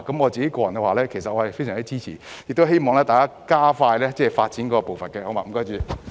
我個人非常支持，亦希望政府加快發展步伐。